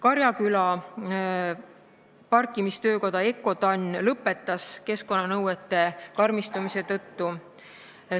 Karjaküla parkimistöökoda Eurotann lõpetas tegevuse keskkonnanõuete karmistumise tõttu.